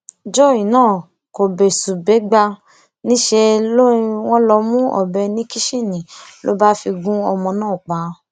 joy náà kò bẹsùbẹgbà níṣẹ ni wọn lọ mú ọbẹ ní kìsinni ló bá fi gún ọmọ náà pa